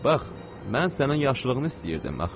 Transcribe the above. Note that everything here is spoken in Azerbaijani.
Mən sənin yaxşılığını istəyirdim axı.